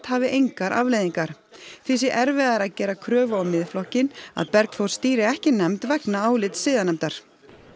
hafi engar afleiðingar því sé erfiðara að gera kröfu á Miðflokkinn að Bergþór stýri ekki nefnd vegna álits siðanefndar